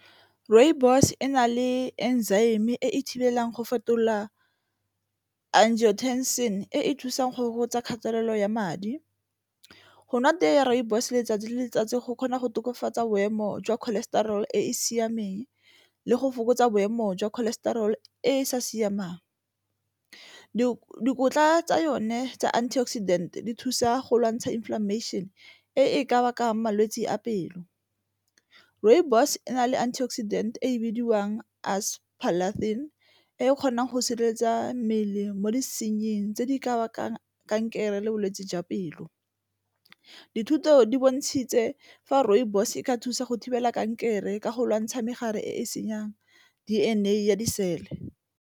Rooibos e na le e thibelang go fetola e e thusang go fokotsa kgatelelo ya madi, go nwa tee ya rooibos letsatsi le letsatsi go kgona go tokafatsa boemo jwa cholesterol e e siameng le go fokotsa boemo jwa cholesterol e sa siamang. Dikotla tsa yone tsa antioxidant di thusa go lwantsha inflammation e e ka bakang malwetse a pelo, rooibos e na le antioxidant e bidiwang e e kgonang go sireletsa mmele mo disenying tse di ka baka kankere le bolwetse jwa pelo. Dithuto di bontshitse fa rooibos e ka thusa go thibela kankere ka go lwantsha megare e senyang D_N_A ya disele.